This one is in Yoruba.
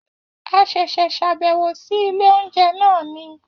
A ṣẹ̀ṣẹ̀ ṣàbẹ̀wò sí ilé oúnjẹ náà ni